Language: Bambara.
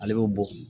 Ale bɛ bɔ